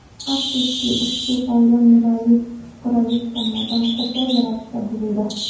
Afsuski, ushbu qoida Nurali Shukrullayev tomonidan qo‘pol ravishda buzildi.